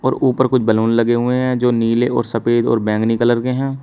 और ऊपर कुछ बैलून लगे हुए हैं जो नीले और सफेद और बैंगनी कलर के हैं।